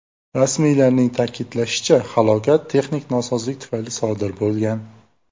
Rasmiylarning ta’kidlashicha, halokat texnik nosozlik tufayli sodir bo‘lgan.